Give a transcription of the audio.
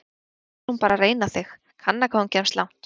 Kannski er hún bara að reyna þig, kanna hvað hún kemst langt!